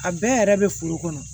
A bɛɛ yɛrɛ be foro kɔnɔ